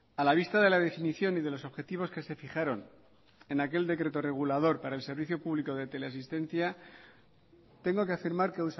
a la vista de la definición y de los objetivos que se fijaron en aquel decreto regulador para el servicio público de teleasistencia tengo que afirmar que